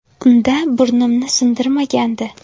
Unda burnimni sindirishgandi.